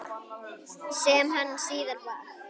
Sem hann síðar varð.